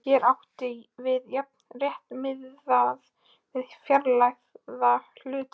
Hér er átt við jafnan rétt miðað við fjárhæð hluta.